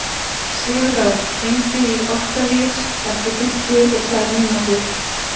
Sigurörn, hringdu í Októvíus eftir fimmtíu og tvær mínútur.